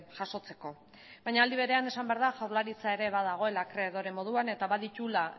jasotzeko baina aldi berean esan behar da jaurlaritza badagoela akreedore moduan eta badituela